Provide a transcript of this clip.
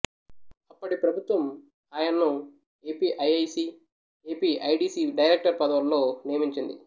అప్పటి ప్రభుత్వం ఆయన్ను ఏపీఐఐసీ ఏపీఐడీసీ డెరైక్టర్ పదవుల్లో నియమించింది